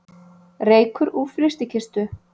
Reykur úr frystikistu